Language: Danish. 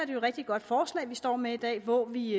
et rigtig godt forslag vi står med i dag hvor vi